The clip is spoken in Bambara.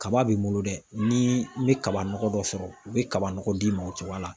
Kaba be n bolo dɛ ni n be kaba nɔgɔ dɔ sɔrɔ u be kaba nɔgɔ d'i ma o cogoya la